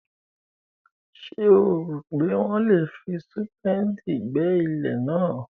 Ṣé o rò pé wọ́n lè fi súpéèdì gbẹ́ ilẹ̀ náà?